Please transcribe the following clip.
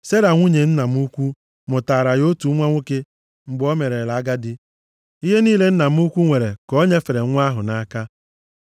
Sera nwunye nna m ukwu mụtaara ya otu nwa nwoke mgbe o merela agadi. Ihe niile nna m ukwu nwere ka o nyefere nwa ahụ nʼaka.